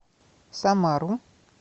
самару